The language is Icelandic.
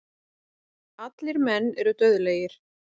Allir menn eru dauðlegir.